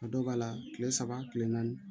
A dɔw b'a la kile saba kile naani